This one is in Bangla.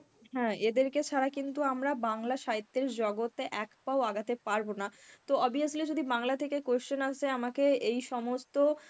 হ্যাঁ, এদেরকে ছাড়া কিন্তু আমরা বাংলা সাহিত্যের জগতে এক পাও আগাতে পারব না. তো obviously যদি বাংলা থেকে question আসে আমাকে এই সমস্ত